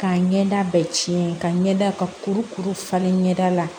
K'a ɲɛda bɛɛ ci ka ɲɛda ka kurukuru falen ɲɛda la